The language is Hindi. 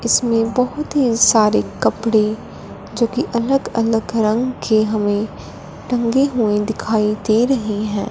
इसमें बहुत ही सारे कपड़े जो कि अलग अलग रंग के हमें टंगे हुए दिखाई दे रही हैं।